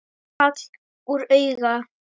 Hagl úr auga.